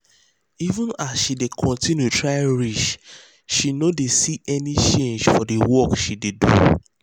even as she dey continue try reach she no dey see any change for the work she dey do